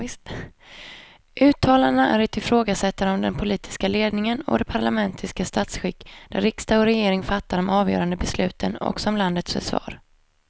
Uttalandena är ett ifrågasättande av den politiska ledningen och det parlamentariska statsskick där riksdag och regering fattar de avgörande besluten också om landets försvar.